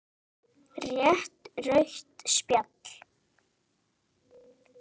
Rétt rautt spjald?